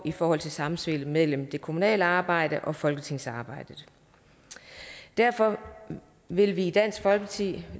i forhold til samspillet mellem det kommunale arbejde og folketingsarbejdet derfor vil vi i dansk folkeparti